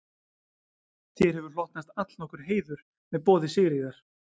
Þér hefur hlotnast allnokkur heiður með boði Sigríðar